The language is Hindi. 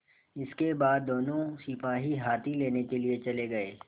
इसके बाद दोनों सिपाही हाथी लेने के लिए चले गए